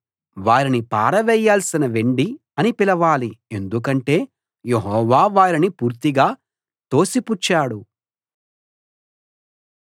వారిని పారవేయాల్సిన వెండి అని పిలవాలి ఎందుకంటే యెహోవా వారిని పూర్తిగా తోసిపుచ్చాడు